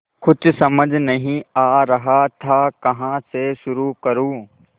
कुछ समझ नहीं आ रहा था कहाँ से शुरू करूँ